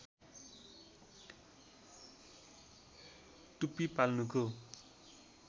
टुप्पी पाल्नुको